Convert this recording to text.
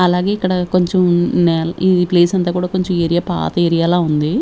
అలాగే ఇక్కడ కొంచెం ఈ ప్లేస్ అంతా కూడా కొంచెం ఏరియా పాత ఏరియా లా ఉంది.